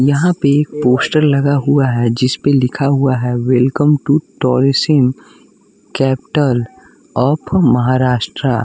यहाँ पे एक पोस्टर लगा हुआ है जिसपे लिखा हुआ है welcome to tourism capital of Maharashtra.